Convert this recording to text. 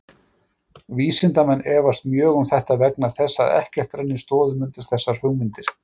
Vísindamenn efast mjög um þetta vegna þess að ekkert rennir stoðum undir þessar hugmyndir.